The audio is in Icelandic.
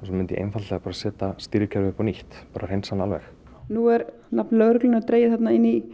og svo myndi ég einfaldlega setja stýrikerfið upp á nýtt bara hreinsa hana alveg nú er nafn lögreglunnar dregið þarna inn í